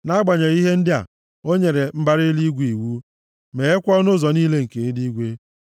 Nʼagbanyeghị ihe ndị a, o nyere mbara eluigwe iwu meghekwa ọnụ ụzọ niile nke eluigwe.